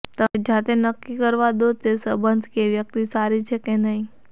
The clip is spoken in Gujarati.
તેમને જાતે નક્કી કરવા દો કે તે સંબંધ કે વ્યક્તિ સારી છે કે નહિ